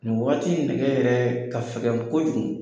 Nin wagati in nɛgɛ yɛrɛɛ ka fɛgɛn kojugu.